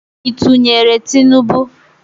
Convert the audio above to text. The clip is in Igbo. Ị tụnyeere Tinubu?